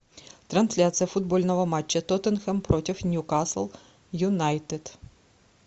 трансляция футбольного матча тоттенхэм против ньюкасл юнайтед